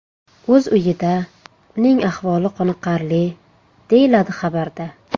o‘z uyida, uning ahvoli qoniqarli, deyiladi xabarda.